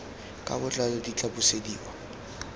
ka botlalo di tla busediwa